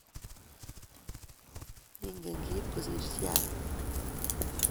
Ingen Kip kosiir chi age